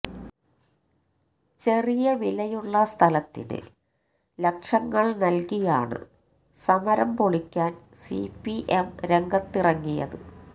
ചെറിയ വിലയുള്ള സ്ഥലത്തിന് ലക്ഷങ്ങൾ നൽകിയാണ് സമരം പൊളിക്കാൻ സിപിഎം രംഗത്തിറങ്ങിയത്